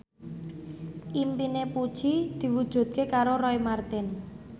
impine Puji diwujudke karo Roy Marten